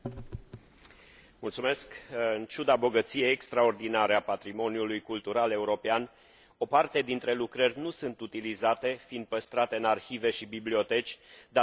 În ciuda bogăției extraordinare a patrimoniului cultural european, o parte dintre lucrări nu sunt utilizate, fiind păstrate în arhive și biblioteci, datorită statutului de opere orfane.